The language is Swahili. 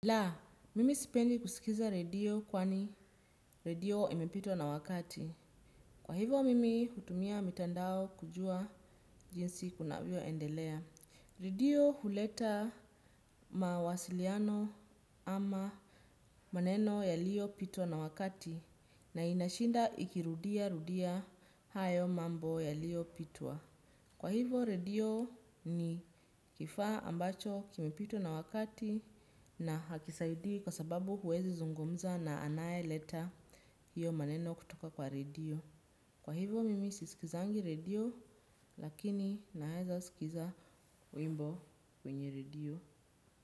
La, mimi sipendi kusikiza redio kwani redio imepitwa na wakati. Kwa hivyo mimi hutumia mitandao kujua jinsi kunavyo endelea. Redio huleta mawasiliano ama maneno yaliopitwa na wakati na inashinda ikirudia rudia hayo mambo yaliopitwa. Kwa hivyo redio ni kifaa ambacho kimepitwa na wakati. Na hakisaidii kwa sababu huwezi zungumza na anaye leta hiyo maneno kutoka kwa radio. Kwa hivyo mimi sisikizi radio lakini naweza sikiza wimbo kwenye redio.